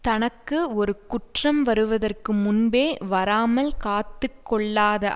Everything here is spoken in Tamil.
தனக்கு ஒரு குற்றம் வருவதற்கு முன்பே வராமல் காத்து கொள்ளாத